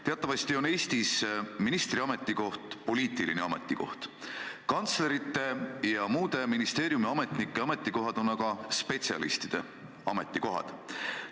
Teatavasti on Eestis ministri ametikoht poliitiline ametikoht, kantslerite ja muude ministeeriumiametnike ametikohad on aga spetsialistide ametikohad.